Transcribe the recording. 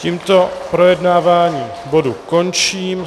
Tímto projednávání bodu končím.